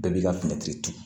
Bɛɛ b'i ka turu